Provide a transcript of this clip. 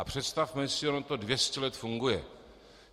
A představme si, ono to 200 let funguje.